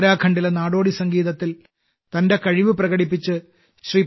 ഉത്തരാഖണ്ഡിലെ നാടോടി സംഗീതത്തിൽ തന്റെ കഴിവ് പ്രകടിപ്പിച്ച് ശ്രീ